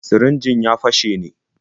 Sirinjin ya fashe ne?